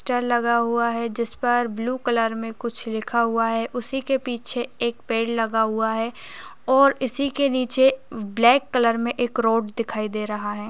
लगा हुआ है जिसपर ब्लू कलर में कुछ लिखा हुआ है। उसी के पीछे एक पेड़ लगा हुआ है और इसी की नीचे ब्लैक कलर में एक रोड दिखाई दे रहा है।